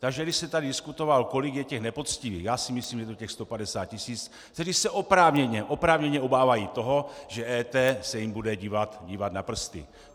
Takže když jste tady diskutoval, kolik je těch nepoctivých - já si myslím, že je to těch 150 tisíc, kteří se oprávněně obávají toho, že EET se jim bude dívat na prsty.